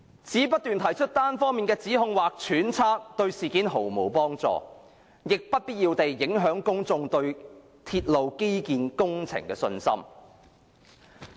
只不斷提出單方面的指控或揣測，對事件毫無幫助，亦不必要地影響公眾對鐵路基建工程的信心。